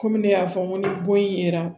Kɔmi ne y'a fɔ n ko ni bon ye